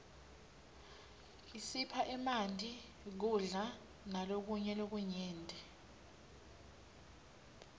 isipha emanti kudla malokunye lokunyenti